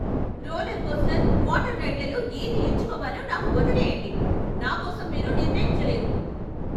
Roller coaster, water రైడ్లలో ఏది ఎంచుకోవాలో నాకు వదిలేయండి, నా కోసం మీరు నిర్ణయించలేరు.